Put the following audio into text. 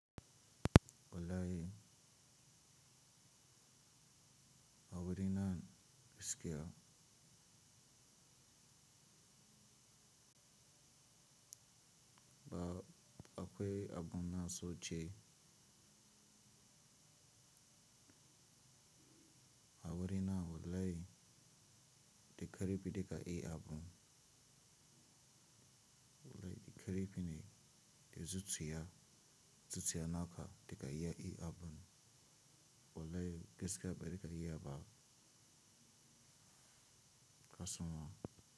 Wallahi a wurin nan gaskiya ba akwai abun na so ce. A wurina wallahi da karfi duka eh abun. Wallai da karfi ne da zuciya zuciya naka duka iya eh abun Wulai gaskiya bar karya ba kasun wa.